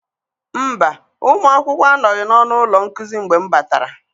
Mba, ụmụ akwụkwọ anọghị n'ọnụ ụlọ nkuzi mgbe m batara.